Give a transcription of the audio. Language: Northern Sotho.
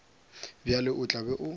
bjalo o tla be o